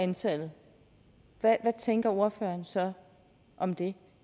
antallet hvad tænker ordføreren så om det